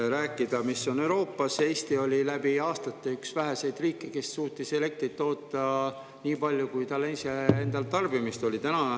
Räägid sellest, mis on Euroopas, aga Eesti oli läbi aastate üks väheseid riike, kes suutis elektrit toota nii palju, kui tal endal tarbimist oli.